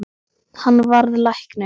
Hann varð læknir.